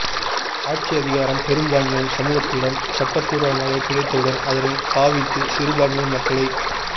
ஆட்சி அதிகாரம் பெரும்பான்மை சமூகத்திடம் சட்ட பூர்மாக கிடைத்தவுடன் அதனைப் பாவித்து சிறுபான்மை மக்களை